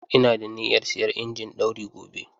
Ina da niyyar siyan injin ɗauri gobe.